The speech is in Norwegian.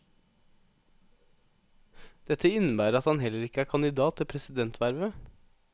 Dette innebærer at han heller ikke er kandidat til presidentvervet.